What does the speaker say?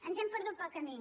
ens hem perdut pel camí